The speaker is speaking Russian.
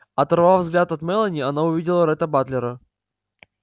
оторвав взгляд от мелани она увидела ретта батлера